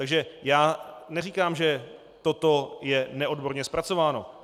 Takže já neříkám, že toto je neodborně zpracováno.